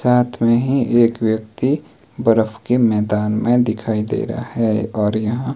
साथ में ही एक व्यक्ति बर्फ के मैदान में दिखाई दे रहा है और यहां--